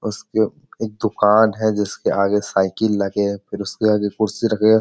उसके एक दुकान है जिसके आगे साइकिल लगे हैं। फिर उसके आगे कुर्सी रखे हैं।